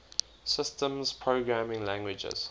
systems programming languages